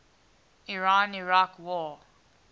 iran iraq war